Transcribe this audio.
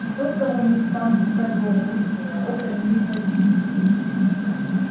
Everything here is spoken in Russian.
что-то у них там своё внутреннее вот они и затихли